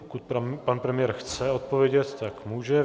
Pokud pan premiér chce odpovědět, tak může.